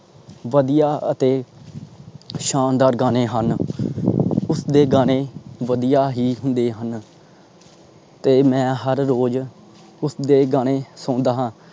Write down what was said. ਵਧੀਆ ਅਤੇ ਸ਼ਾਨਦਾਰ ਗਾਣੇ ਹਨ। ਉਸਦੇ ਗਾਣੇ ਵਧੀਆ ਹੀ ਹੁੰਦੇ ਹਨ। ਤੇ ਮੈਂ ਹਰ ਰੋਜ ਉਸਦੇ ਗਾਣੇ ਸੁਣਦਾ ਹਾਂ।